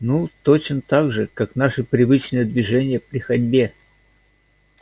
ну точно так же как наши привычные движения при ходьбе